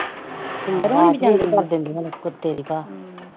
ਇੰਦਰ ਹੁਣੇ ਵੀ ਜਾਂਦੀ ਕਰ ਦਿੰਦੀਆਂ ਨੇ, ਕੁੱਤੇ ਦੀ ਭਾਅ